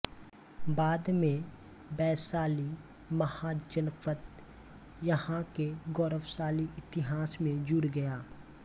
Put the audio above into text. बाद में वैशाली महाजनपद यहाँ के गौरवशाली इतिहास में जुड़ गया